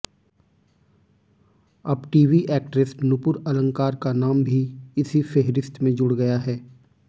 अब TV actress Nupur Alankar का नाम भी इसी फेहरिस्त में जुड़ गया है